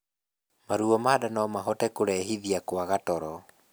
Maruo ma nda nomahote kũrehithia kwaga toro